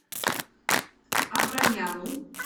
абрамяну